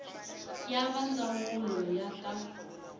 ya va ndzawulo ya ta